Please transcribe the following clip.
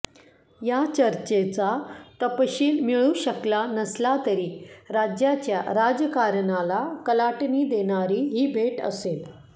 या चर्चेचा तपशील मिळू शकला नसला तरी राज्याच्या राजकारणाला कलाटणी देणारी ही भेट असेल